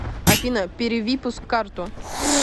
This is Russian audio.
афина перевипуск карту